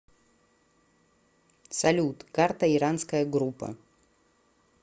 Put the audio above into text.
салют карта иранская группа